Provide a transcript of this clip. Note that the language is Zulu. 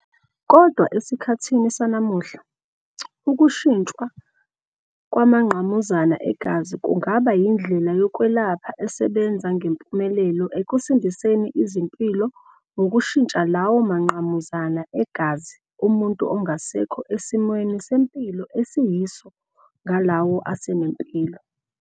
Kodwa esikhathini sanamuhla, ukushintshwa kwamangqamuzana egazi kungaba yindlela yokwelapha esebenza ngempumelelo ekusindiseni izimpilo ngokushintsha lawo mangqamuzana egazi omuntu angasekho esimweni sempilo esiyiso ngalawo asenempilo.